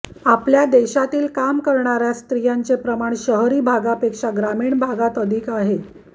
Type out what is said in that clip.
आपल्या देशातील काम करणाऱ्या स्त्रियांचे प्रमाण शहरी भागापेक्षा ग्रामीण भागात अधिक आहे